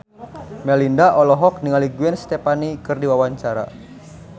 Melinda olohok ningali Gwen Stefani keur diwawancara